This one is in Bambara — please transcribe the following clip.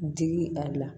Digi a la